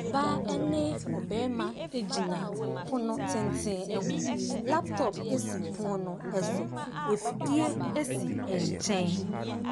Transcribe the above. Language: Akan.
Ɔbaa ɛne ɔbarima egyina pono tenten ɛho laptɔp esi pono no ɛso afidie esi nkyɛn